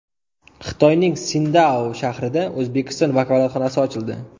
Xitoyning Sindao shahrida O‘zbekiston vakolatxonasi ochildi.